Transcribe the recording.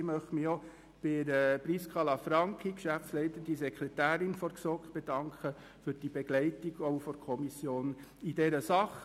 Auch möchte ich mich bei Prisca Lanfranchi, Geschäftsleitende Sekretärin der GSoK, für die Begleitung der Kommission bedanken.